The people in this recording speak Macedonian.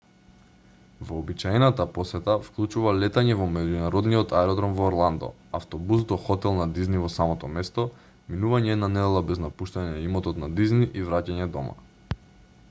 вообичаената посета вклучува летање во меѓународниот аеродром во орландо автобус до хотел на дизни во самото место минување една недела без напуштање на имотот на дизни и враќање дома